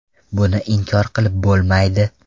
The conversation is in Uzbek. Buni inkor qilib bo‘lmaydi.